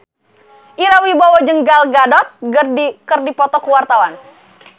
Ira Wibowo jeung Gal Gadot keur dipoto ku wartawan